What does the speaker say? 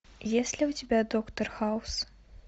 есть ли у тебя доктор хаус